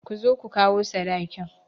Ku zo ku kawo sadakin!